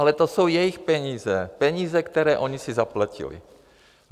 Ale to jsou jejich peníze, peníze, které oni si zaplatili.